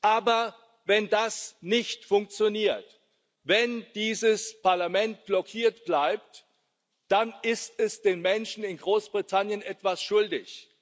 Aber wenn das nicht funktioniert, wenn dieses Parlament blockiert bleibt, dann ist es den Menschen in Großbritannien etwas schuldig.